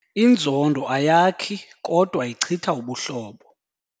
Inzondo ayakhi kodwa ichitha ubuhlobo.